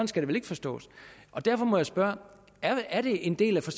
skal det vel ikke forstås derfor må jeg spørge er det en del af